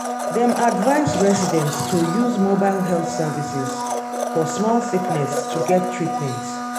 dem advise residents to use mobile health services for small sickness to get treatment.